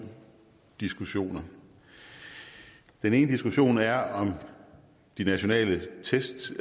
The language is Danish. diskussioner den ene diskussion er om de nationale tests